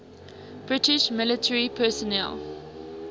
british military personnel